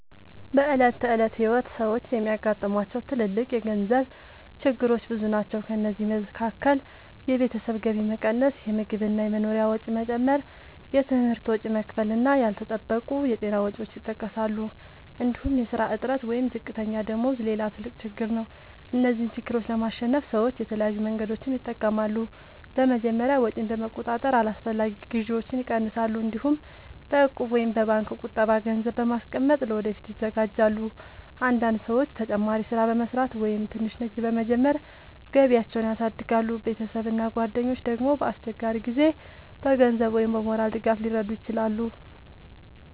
በዕለት ተዕለት ሕይወት ሰዎች የሚያጋጥሟቸው ትልልቅ የገንዘብ ችግሮች ብዙ ናቸው። ከእነዚህ መካከል የቤተሰብ ገቢ መቀነስ፣ የምግብ እና የመኖሪያ ወጪ መጨመር፣ የትምህርት ወጪ መክፈል እና ያልተጠበቁ የጤና ወጪዎች ይጠቀሳሉ። እንዲሁም የሥራ እጥረት ወይም ዝቅተኛ ደመወዝ ሌላ ትልቅ ችግር ነው። እነዚህን ችግሮች ለማሸነፍ ሰዎች የተለያዩ መንገዶችን ይጠቀማሉ። በመጀመሪያ ወጪን በመቆጣጠር አላስፈላጊ ግዢዎችን ይቀንሳሉ። እንዲሁም በእቁብ ወይም በባንክ ቁጠባ ገንዘብ በማስቀመጥ ለወደፊት ይዘጋጃሉ። አንዳንድ ሰዎች ተጨማሪ ሥራ በመስራት ወይም ትንሽ ንግድ በመጀመር ገቢያቸውን ያሳድጋሉ። ቤተሰብ እና ጓደኞች ደግሞ በአስቸጋሪ ጊዜ በገንዘብ ወይም በሞራል ድጋፍ ሊረዱ ይችላሉ።